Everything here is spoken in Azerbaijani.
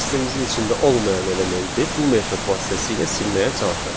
Gəlin dəstəmizin içində olmayan elementi bu metod vasitəsilə silməyə çalışaq.